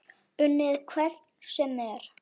Unnið hvern sem er?